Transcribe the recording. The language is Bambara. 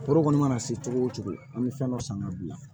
Foro kɔni mana se cogo o cogo an bɛ fɛn dɔ san ka bila